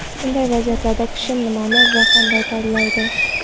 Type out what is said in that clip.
Bunday vaziyatlarda kishi nimani va qanday tanlaydi?